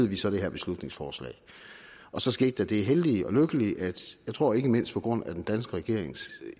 vi så det her beslutningsforslag og så skete der det heldige og lykkelige jeg tror ikke mindst på grund af den danske regerings